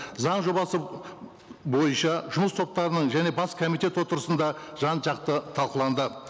заң жобасы бойынша жұмыс топтарының және бас комитет отырысында жан жақты талқыланды